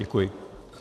Děkuji.